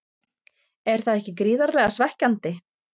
Er það ekki gríðarlega svekkjandi?